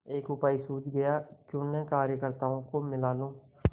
एक उपाय सूझ गयाक्यों न कार्यकर्त्ताओं को मिला लूँ